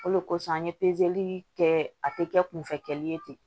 O de kosɔn an ye pezeli kɛ a tɛ kɛ kunfɛ kɛli ye ten